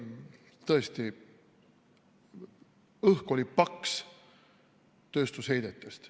Tõesti, õhk oli paks tööstusheidetest.